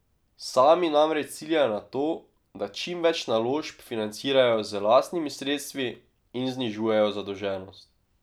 Sami namreč ciljajo na to, da čim več naložb financirajo z lastnimi sredstvi in znižujejo zadolženost.